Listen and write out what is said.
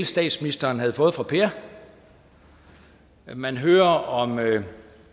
statsministeren havde fået fra per man hørte om